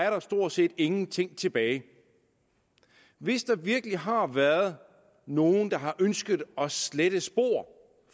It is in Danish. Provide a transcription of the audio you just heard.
jo stort set ingenting tilbage hvis der virkelig har været nogen der har ønsket at slette spor